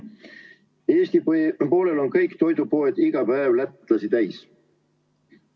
Eesti poolel on kõik toidupoed iga päev lätlasi täis.